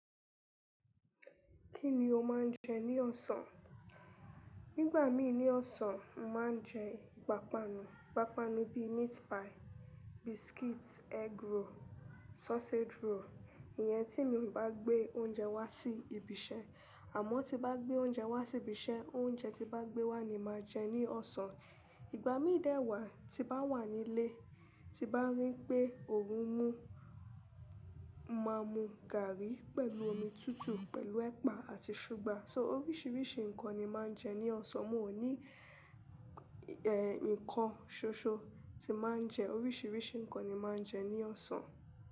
Kíni o máa ń jẹ ní ọ̀sán? Nígbà mí ní ọ̀sán, mo màá ń jẹ ìpápánu. Ìpápánu bí meat pie, biscuit, egg roll, sausage roll. Ìyẹn tí mi ò bá gbé oúnjẹ wá sí ibi iṣẹ́. Àmọ́ tí n bá gbé oúnjẹ wá sí ibi iṣẹ́, oúnjẹ tí n bá gbé wá ni màá jẹ ní ọ̀sán. Ìgbà mí dẹ́wàá tí bá wà nílé, tí bá rí pé òórùn mú, màá mu gààrí pẹ̀lú omi tútù pẹ̀lú ẹ̀pà àti ṣúgà. So oríṣiríṣi nǹkan ni màá ń jẹ ní ọ̀sán. Mo ní ìn kọn ṣoṣo tí màá ń jẹ. Oríṣiríṣi nǹkan ni màá ń jẹ ní ọ̀sán.